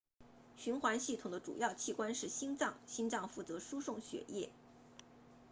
循环系统的主要器官是心脏心脏负责输送血液